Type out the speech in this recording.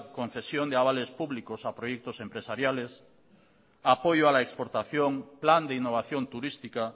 concesión de avales públicos a proyectos empresariales apoyo a la exportación plan de innovación turística